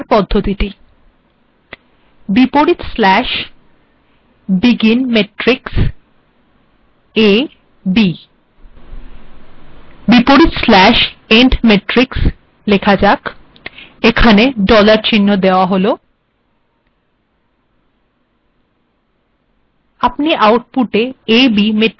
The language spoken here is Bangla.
েলেটেক েমট্িরক্স্কি কিভাবে লেখা যায় \begin matrix a b \end matrix লেখা যাক এখানে ডলার চিহ্ন লেখা হল